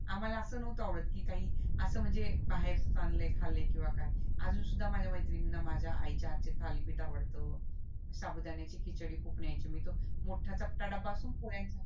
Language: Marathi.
आम्हाला असं नावात आवडत की काही असं म्हणजे बाहेरच आणलंय खाल्लंय किंवा काय अजून सुद्धा माझ्या मैत्रीणीना माझ्या आईच्या हातचे थालीपीठ आवडत साबुदाण्याची खिचडी खूप न्यायची मी तर मोठा चपट्टा डब्बा असतो ना पोळ्यांचा